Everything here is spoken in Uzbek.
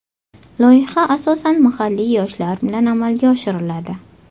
Loyiha asosan mahalliy yoshlar bilan amalga oshiriladi.